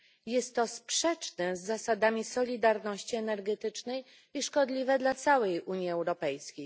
Jest to sprzeczne z zasadami solidarności energetycznej i szkodliwe dla całej Unii Europejskiej.